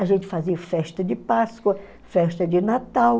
A gente fazia festa de Páscoa, festa de Natal.